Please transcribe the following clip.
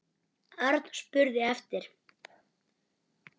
Örn spurði eftir